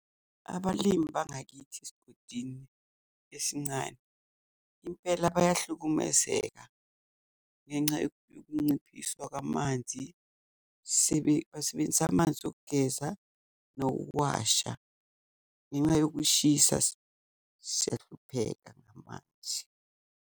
Abalimi bangakithi esigodini esincane impela bayahlukumezeka ngenca yokunciphiswa kwamanzi, basebenzisa amanzi okugeza nokuwasha ngenca yokushisa siyahlupheka ngamanzi.